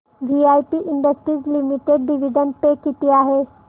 VIP Industries Limited dividend pay किती आहे